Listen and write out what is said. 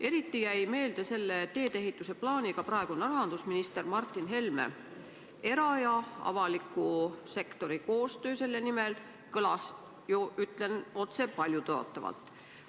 Eriti jäi meelde selle teedeehituse plaaniga praegune rahandusminister Martin Helme, kelle sõnum era- ja avaliku sektori koostööst kõlas ju, ütlen otse, paljutõotavalt.